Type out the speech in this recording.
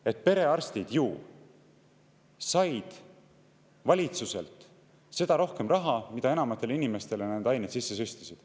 –, et perearstid said valitsuselt seda rohkem raha, mida enamatele inimestele nad neid aineid sisse süstisid.